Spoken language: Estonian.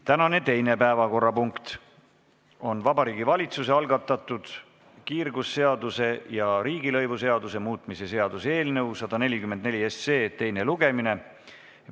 Tänane teine päevakorrapunkt on Vabariigi Valitsuse algatatud kiirgusseaduse ja riigilõivuseaduse muutmise seaduse eelnõu 144 teine lugemine.